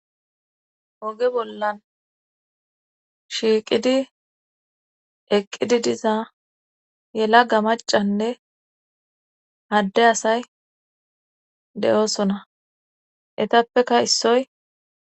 oge bollan shiiqidi eqqidi diza yelaga macanne hadde asay de7oosona etappeka issoy